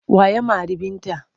Wa ya mari Binta?